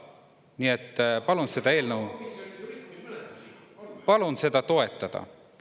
Nii et palun seda eelnõu toetada.